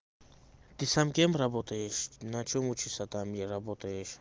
ты сам кем работаешь на чем учишься там и работаешь